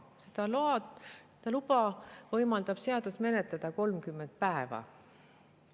Seda luba võimaldab seadus menetleda 30 päeva.